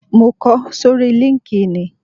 Mo kọ sórí líńki-inì